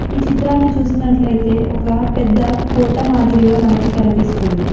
ఈ చిత్రాన్ని చూసినట్లయితే ఒక పెద్ద కోట మాదిరిగా మనకి కనిపిస్తుంది.